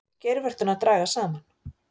Geirvörturnar dragast saman.